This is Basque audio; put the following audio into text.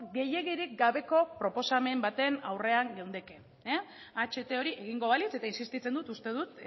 gehiegirik gabeko proposamen baten aurrean geundeke aht hori egingo balitz eta insistitzen dut uste dut